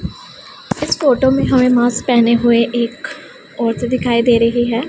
इस फोटो में हमें मास्क पहने हुए एक औरतें दिखाई दे रही है।